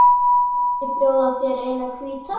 Mætti bjóða þér eina hvíta.